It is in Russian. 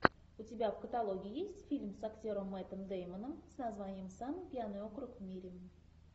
у тебя в каталоге есть фильм с актером мэттом деймоном с названием самый пьяный округ в мире